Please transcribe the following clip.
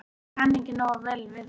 Ég kann ekki nógu vel við það.